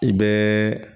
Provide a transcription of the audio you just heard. I bɛ